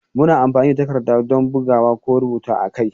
Muna amfani da takarda don bugawa ko rubutu a kai.